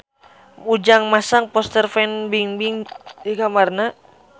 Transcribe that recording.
Ujang masang poster Fan Bingbing di kamarna